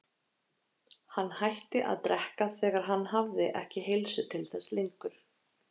Hann hætti að drekka þegar hann hafði ekki heilsu til þess lengur.